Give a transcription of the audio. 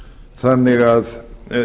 þannig að